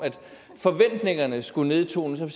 forventningerne skulle nedtones og